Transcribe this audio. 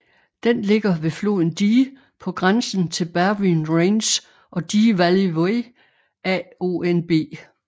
Den ligger ved floden Dee på grænsen til Berwyn range og Dee Valley Way AONB